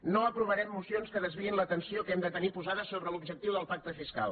no aprovarem mocions que desviïn l’atenció que hem de tenir posada sobre l’objectiu del pacte fiscal